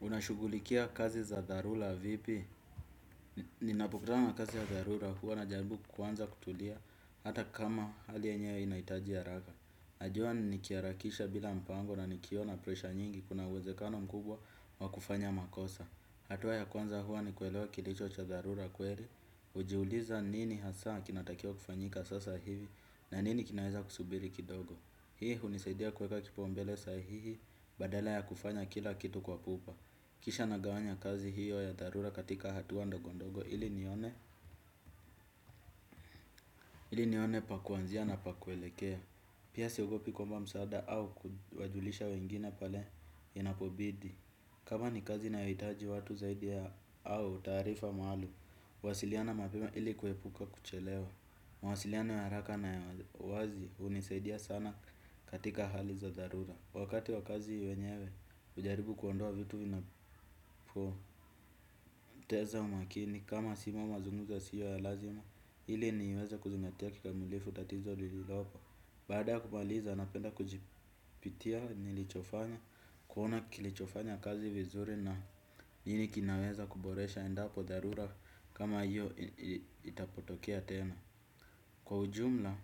Unashughulikia kazi za dharura vipi? Ninapokutana na kazi ya dharura huwa najaribu kuanza kutulia hata kama hali yenyewe inahitaji haraka. Najua nikiharakisha bila mpango na nikiwa na presha nyingi kuna uwezekano mkubwa wa kufanya makosa. Hatua ya kwanza huwa ni kuelewa kilicho cha dharura kweli. Hujiuliza nini hasa kinatakiwa kufanyika sasa hivi na nini kinaeza kusubiri kidogo. Hii hunisaidia kueka kipaumbele sahihi badala ya kufanya kila kitu kwa pupa. Kisha nagawanya kazi hiyo ya dharura katika hatua ndogondogo ili nione ili nione pa kuanzia na pa kuelekea. Pia siogopi kuomba msaada au kuwajulisha wengine pale inapobidi. Kama ni kazi nahitaji watu zaidi ya au taarifa maalum, wasiliana mapema ili kuepuka kuchelewa. Mawasiliana ya haraka na wazi hunisaidia sana katika hali za dharura. Wakati wa kazi wenyewe, hujaribu kuondoa vitu vinapoteza umakini, kama simu au mazungumzo yasiyo ya lazima, ili niweza kuzingatia kikamulifu tatizo lililopo. Bada kumaliza, napenda kujipitia nilichofanya, kuona kilichofanya kazi vizuri na nini kinaweza kuboresha endapo dharura kama hiyo itapotokea tena. Kwa ujumla,